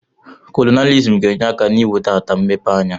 Kolonailizm ga-enye aka n'iwe ata mmepe anya.